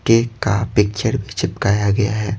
के का पिक्चर भी चिपकाया गया है।